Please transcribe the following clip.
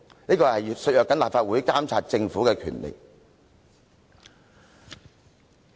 這會削弱立法會監察政府的權力。